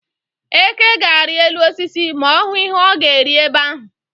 Eke ga-arị elu osisi ma ọ hụ ihe ọ ga-eri ebe ahụ.